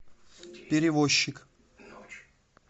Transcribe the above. перевозчик